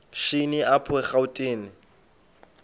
shini apho erawutini